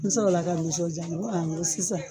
N sɔrɔ la ka nisɔndiya n ko n ko sisan